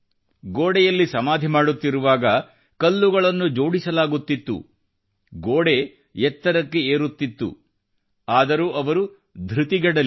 ಗೋಡೆಯಲ್ಲಿ ಸಮಾಧಿ ಮಾಡುತ್ತಿರುವಾಗ ಕಲ್ಲುಗಳನ್ನು ಜೋಡಿಸಲಾಗುತ್ತಿತ್ತು ಗೋಡೆ ಎತ್ತರಕ್ಕೆ ಏರುತ್ತಿತ್ತು ಆದರೂ ಅವರು ಧೃತಿಗೆಡಲಿಲ್ಲ